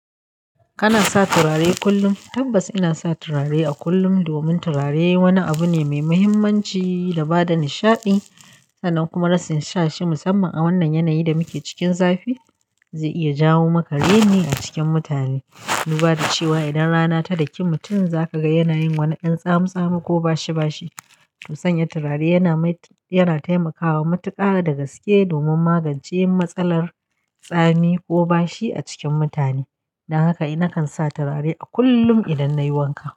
Kana sa turare kullum? Tabbas ina sa turare a kullum. Domin turare wani abu ne mai muhimmanci da bada nishaɗi sannan kuma rashin sa shi musamman a wannan yanayin da muke cikin zafi zai iya jawo maka raini a cikin mutane. Duba da cewa idan rana ta daki mutum za ka ga yana yin wani ɗan tsamu tsami ko bashi bashi. Musanya turare yana taimakawa matuƙa da gaske domin magance matsalar tsami ko bashi a cikin mutane. Don haka eh nakan sa turare a kullum idan nayi wanka.